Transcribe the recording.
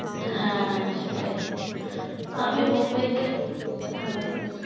হ্যাঁ সেটাই আমি মুম্বাই তে হ্যাঁ বলুন